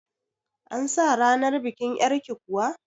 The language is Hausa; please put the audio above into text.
An sa ranar bikin yar'ki kuwa?